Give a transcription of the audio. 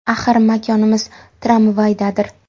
Axir makonimiz tramvaydadir.